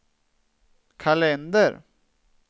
kalender